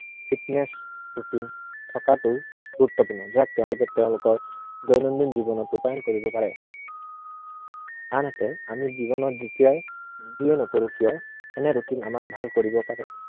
fitness routine থকাটো গুৰুত্বপূৰ্ণ। যে তেওঁলোকে তেওঁলোকৰ দৈনন্দিন জীৱনত ৰূপায়ণ কৰিব পাৰে। আনহাতে আমি জীৱনত যিয়েই নকৰো কিয় এনে routine এ আমাক ভাল কৰিব পাৰে।